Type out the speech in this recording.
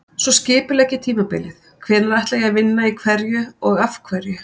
Svo skipulegg ég tímabilið, hvenær ætla ég að vinna í hverju og af hverju?